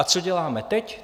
A co děláme teď?